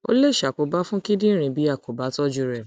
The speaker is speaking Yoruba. ó lè ṣàkóbá fún kíndìnrín bí a kò bá tọjú rẹ